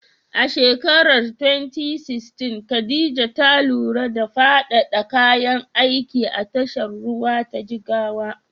A shekarar 2016, Khadija ta lura da faɗaɗa kayan aiki a tashar ruwa ta Jigawa.